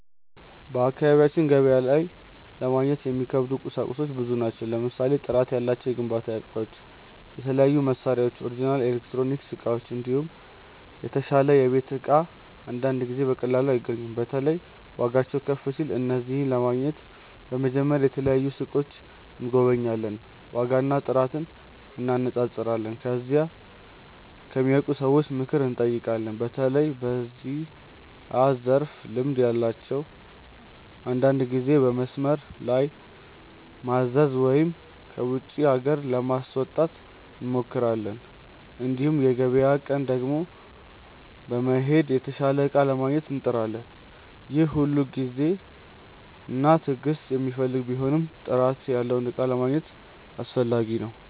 በአካባቢያችን ገበያ ላይ ለማግኘት የሚከብዱ ቁሳቁሶች ብዙ ናቸው። ለምሳሌ ጥራት ያላቸው የግንባታ እቃዎች፣ የተለያዩ መሳሪያዎች፣ ኦሪጅናል ኤሌክትሮኒክስ እቃዎች፣ እንዲሁም የተሻለ የቤት እቃ አንዳንድ ጊዜ በቀላሉ አይገኙም። በተለይ ዋጋቸው ከፍ ሲል። እነዚህን ለማግኘት በመጀመሪያ የተለያዩ ሱቆችን እንጎበኛለን፣ ዋጋና ጥራት እንነጻጸራለን። ከዚያም ከሚያውቁ ሰዎች ምክር እንጠይቃለን፣ በተለይ በዚያ ዘርፍ ልምድ ያላቸውን። አንዳንድ ጊዜ በመስመር ላይ ማዘዝ ወይም ከውጪ ሀገር ለማስመጣት እንሞክራለን። እንዲሁም በገበያ ቀን ቀድሞ በመሄድ የተሻለ እቃ ለማግኘት እንጥራለን። ይህ ሁሉ ጊዜና ትዕግስት የሚፈልግ ቢሆንም ጥራት ያለውን እቃ ለማግኘት አስፈላጊ ነው።